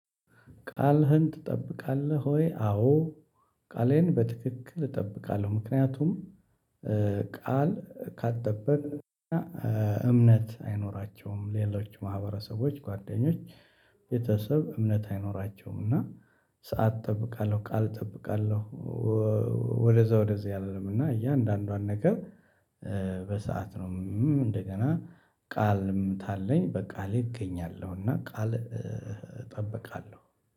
ቃልህን ትጠብቃለህ ወይ? አዎ ቃሌን በትክክል እጠብቃለሁ ምክንያቱም ቃል ካልጠቅን እና እምነት አይኖራቸውም ሌሎች ማህበረሰቦች ጓደኞች ቤተሰብ እምነት አይኖራቸውም እና ሰዓት እጠብቃለሁ ቃል እጠብቃለሁ ወደዛ ወደዛ አልልም እና እያንዳንዷን ነገር በሰአት ነው እንደገና ቃልም ታለኝ በቃሌ እገኛለሁ እና ቃል እጠብቃለሁ